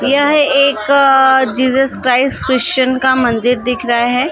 यह एक अ जीसस च्राईस्ट क्रिस्चियन का मंदिर दिख रह हैं जा।